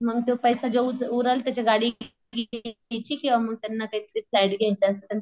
मंग तो पैसे जो उच उरल त्याची गाडी घ्यायची किंवा मग त्यांना काहीतरी फ्लॅट घ्यायचा असल